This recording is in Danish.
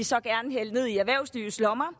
så gerne vil hælde ned i erhvervslivets lommer